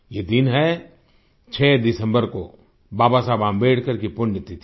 ये दिन है 6 दिसम्बर को बाबा साहब अम्बेडकर की पुण्यतिथि